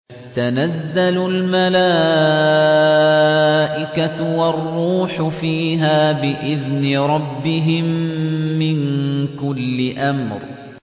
تَنَزَّلُ الْمَلَائِكَةُ وَالرُّوحُ فِيهَا بِإِذْنِ رَبِّهِم مِّن كُلِّ أَمْرٍ